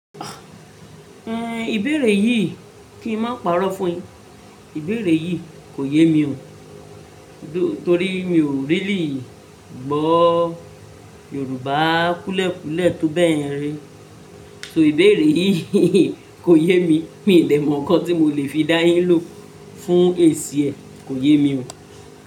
En, ìbéèrè yìí kín máa pàrọ́ fún yin Ìbéèrè yìí kò yé mi o. Torí mi ò really gbọ́ Yorùbá kúúlẹ̀ kúúlẹ̀ tó bẹ́ẹ̀ yen ri. So ìbéèrè yìí kò yé mi. Mi ò dè mọ̀ nǹkan tí mo lè fi dá yín lò fún èsì ẹ. Kò yé mi o.